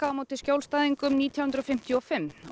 á móti skjólstæðingum síðan nítján hundruð fimmtíu og fimm og